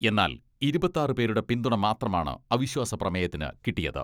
എന്നാൽ ഇരുപത്താറ് പേരുടെ പിന്തുണ മാത്രമാണ് അവിശ്വാസ പ്രമേയത്തിന് കിട്ടിയത്.